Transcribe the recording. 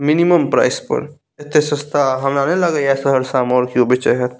minimum price पर एते सस्ता हमरा ना लगा हई सामान कोई बेचा हत |